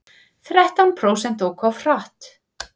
Þrettán prósent óku of hratt